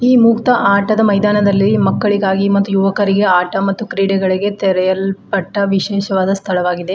ಈ ಮುಕ್ತ ಆಟದ ಮೈದಾನದಲ್ಲಿ ಮಕ್ಕಳಿಗಾಗಿ ಮತ್ತು ಯುವಕರಿಗೆ ಆಟ ಮತ್ತು ಕ್ರೀಡೆಗಳಿಗೆ ತೆರೆಯಲ್ಪಟ್ಟ ವಿಶೇಷವಾದ ಸ್ಥಳವಾಗಿದೆ.